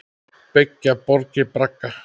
Byggja borgir bragga?